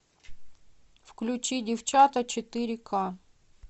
включи девчата четыре к